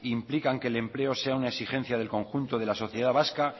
implican que el empleo sea una exigencia del conjunto de la sociedad vasca